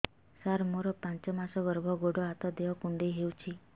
ସାର ମୋର ପାଞ୍ଚ ମାସ ଗର୍ଭ ଗୋଡ ହାତ ଦେହ କୁଣ୍ଡେଇ ହେଉଛି